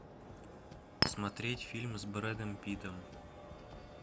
смотреть фильм с брэдом питтом